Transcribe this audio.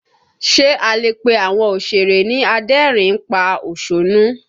Ṣe a lè pe àwọn òsèré ni adẹ́rìn ín pa òṣónú?